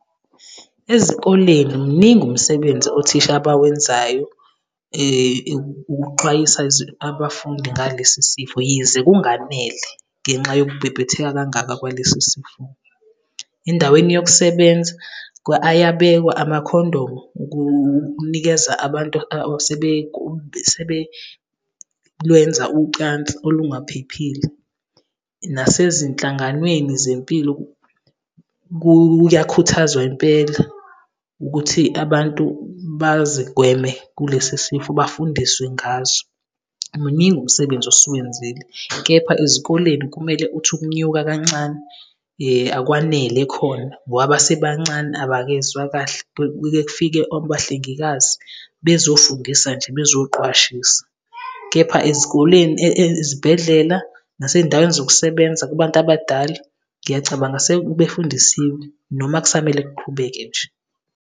Ezikoleni muningi umsebenzi othisha abawenzayo ukuxwayisa abafundi ngalesi sifo, yize kunganele ngenxa yokubhebhetheka kangaka kwaleso sifo. Endaweni yokusebenza ayabekwa amakhondomu, ukunikeza abantu asebelwenza ucansi olungaphephile. Nasezinhlanganweni zempilo, kuyakhuthazwa impela, ukuthi abantu bazigweme kulesi sifo, bafundiswe ngaso. Muningi umsebenzi osuwenzile, kepha ezikoleni kumele uthi ukunyuka kancane, akwanele khona. Ngoba basebancane abakezwa kahle, kuke kufike abahlengikazi bezofundisa nje bezoqwashisa. Kepha ezikoleni, ezibhedlela, nasey'ndaweni zokusebenza kubantu abadala, ngiyacabanga sebefundisiwe. Noma kusamele kuqhubeke nje.